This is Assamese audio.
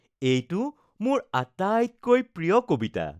এইটো মোৰ আটাইতকৈ প্ৰিয় কবিতা